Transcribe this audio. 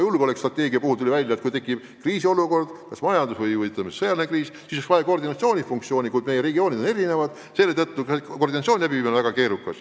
Julgeolekustrateegiast rääkides tuli välja, et kui tekib kriisiolukord – kas majandus- või sõjaline kriis –, siis oleks vaja tegevuse koordineerimist, kuid meie regioonid on erinevad ja koordineerimine on väga keerukas.